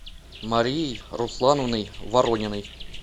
марией руслановной ворониной